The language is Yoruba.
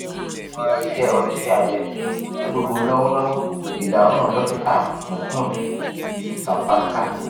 iwon ise onise abe ti gbogbo lọwọlọwọ idahun dokita mukund savaskar